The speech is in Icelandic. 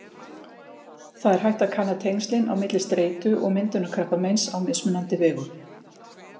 Það er hægt að kanna tengslin á milli streitu og myndunar krabbameins á mismunandi vegu.